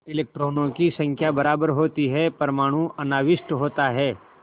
इलेक्ट्रॉनों की संख्या बराबर होती है परमाणु अनाविष्ट होता है